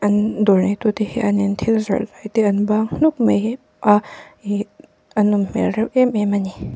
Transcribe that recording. an dawr neihtu te hian in thil zawrh hetia an bang hmuk mai hi a ihh a nawm hmel reuh em em a ni.